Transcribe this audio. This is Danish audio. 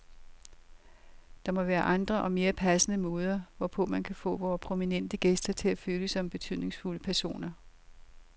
Der må være andre og mere passende måder, hvorpå man kan få vore prominente gæster til at føle sig som betydningsfulde personer.